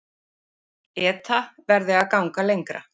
ETA verði að ganga lengra